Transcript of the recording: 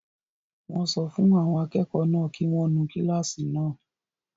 Wọ́n sọ fún àwọn akẹ́kọ̀ọ́ náà kí wọ́n nu kílásì náà